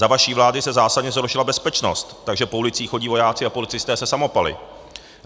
Za vaší vlády se zásadně zhoršila bezpečnost, takže po ulicích chodí vojáci a policisté se samopaly.